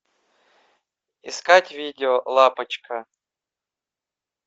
искать видео лапочка